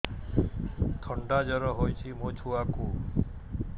ଥଣ୍ଡା ଜର ହେଇଚି ମୋ ଛୁଆକୁ